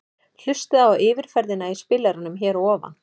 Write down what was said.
Hlustaðu á yfirferðina í spilaranum hér að ofan.